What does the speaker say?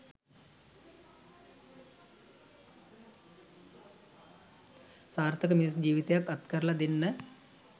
සාර්ථක මිනිස් ජීවිතයක් අත්කරලා දෙන්න